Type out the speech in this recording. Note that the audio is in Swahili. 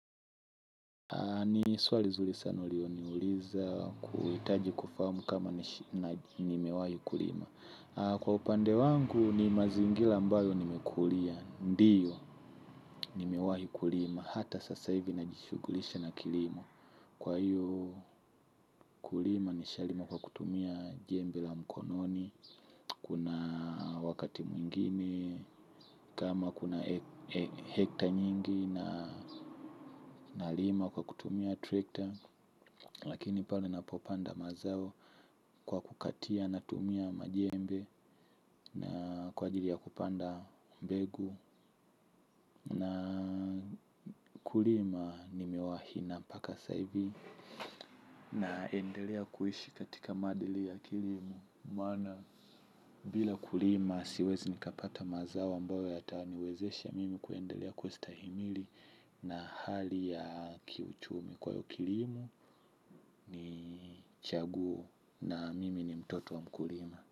Ni swali zuri sana uliloniuliza kuhitaji kufahamu kama nimewahi kulima. Kwa upande wangu ni mazingira mbalo nimekulia. Ndiyo nimewahi kulima hata sasa hivi najishughulisha na kilimo. Kwa hiyo kulima nishalima kwa kutumia jembe la mkononi. Kuna wakati mwingine kama kuna hekta nyingi nalima kwa kutumia trekta. Lakini pale napopanda mazao kwa kukatia natumia majembe na kwa ajili ya kupanda mbegu. Na kulima nimewahi na mpaka saa hivi naendelea kuishi katika madili ya kilimo. Bila kulima siwezi nikapata mazao ambayo yatawaniwezesha mimi kuendelea kustahimili. Na hali ya kiuchumi kwa hiyo kilimo ni chaguo na mimi ni mtoto wa mkulima.